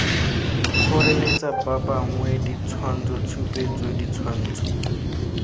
kgoreletsa ba bangwe ditshwantshotshupetso ditshwantsho